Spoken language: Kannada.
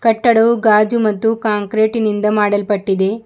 ಕಟ್ಟಡವು ಗಾಜು ಮತ್ತು ಕಾಂಕ್ರೇಟೆ ನಿಂದ ಮಾಡಲ್ಪಟ್ಟಿದೆ.